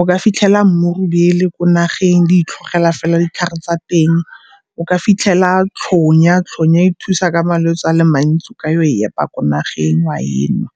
O ka fitlhela mmurubele ko nageng, di itlhogela fela ditlhare tsa teng. O ka fitlhela tlhonya, tlhonya e thusa ka malwetsi a le mantsi o ka ya go e epa ko nageng wa enwa.